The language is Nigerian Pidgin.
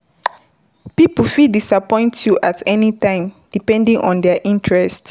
Pipo fit disappoint you at any time depending on their interest